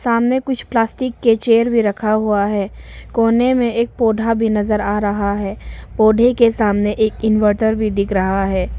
सामने कुछ प्लास्टिक के चेयर भी रखा हुआ है कोने में एक पौधा भी नजर आ रहा है पौधे के सामने एक इनवर्टर भी दिख रहा है।